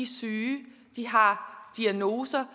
syge de har diagnoser